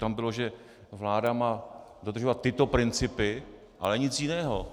Tam bylo, že vláda má dodržovat tyto principy, ale nic jiného.